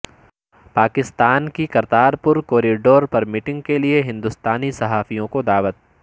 پاکستان کی کرتارپور کوریڈور پر میٹنگ کیلئے ہندوستانی صحافیوں کو دعوت